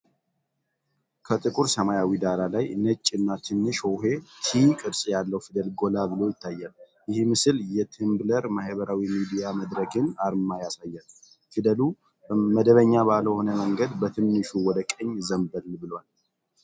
ከጥቁር ሰማያዊ ዳራ ላይ ነጭ እና ትንሽ ሆሄ 't' ቅርጽ ያለው ፊደል ጎላ ብሎ ይታያል። ይህ ምስል የTumblr ማህበራዊ ሚዲያ መድረክን አርማ ያሳያል። ፊደሉ መደበኛ ባልሆነ መንገድ በትንሹ ወደ ቀኝ ዘንበል ብሏል።